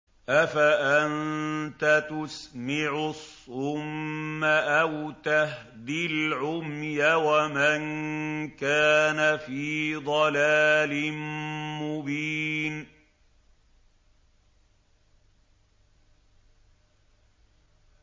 أَفَأَنتَ تُسْمِعُ الصُّمَّ أَوْ تَهْدِي الْعُمْيَ وَمَن كَانَ فِي ضَلَالٍ مُّبِينٍ